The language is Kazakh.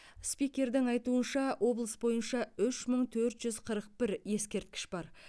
спикердің айтуынша облыс бойынша үш мың төрт жүз қырық бір ескерткіш бар